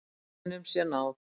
Botninum sé náð.